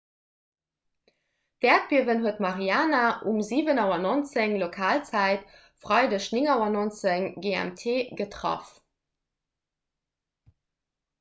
d'äerdbiewen huet mariana um 7.19 auer lokalzäit freideg 9.19 auer gmt getraff